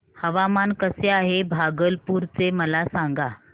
हवामान कसे आहे भागलपुर चे मला सांगा